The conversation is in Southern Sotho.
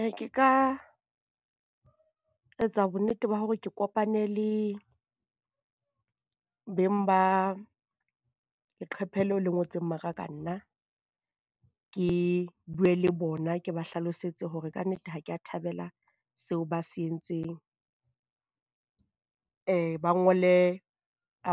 Ee ke ka etsa bonnete ba hore ke kopane le beng ba leqephe leo le ngotseng maka ka nna ke bue le bona, ke ba hlalosetse hore kannete ha kea thabela seo ba se entseng. Ba ngole